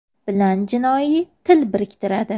bilan jinoiy til biriktiradi.